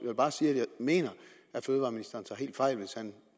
vil bare sige at jeg mener at fødevareministeren tager helt fejl hvis han